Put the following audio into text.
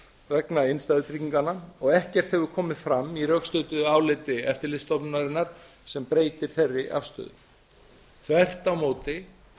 vegna innstæðutrygginganna og ekkert hefur komið fram í rökstuddu áliti eftirlitsstofnunarinnar sem breytir þeirri afstöðu þvert á móti